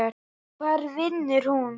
Hvar vinnur hún?